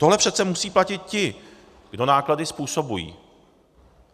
Tohle přece musí platit ti, kdo náklady způsobují.